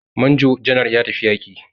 Major general ya tafi yaƙi.